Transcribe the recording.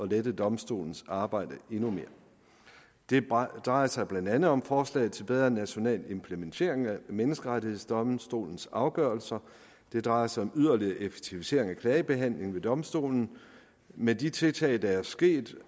lette domstolens arbejde endnu mere det drejer drejer sig blandt andet om forslaget til bedre national implementering af menneskerettighedsdomstolens afgørelser det drejer sig om yderligere effektivisering af klagebehandling ved domstolen med de tiltag der er sket